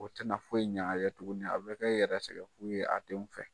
O tɛna foyi ɲ'a ye tuguni a bɛ kɛ yɛrɛ sɛgɛn fu ye a denw fɛ.